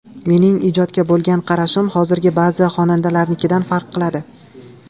Mening ijodga bo‘lgan qarashim hozirgi ba’zi xonandalarnikidan farq qiladi.